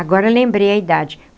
Agora lembrei a idade.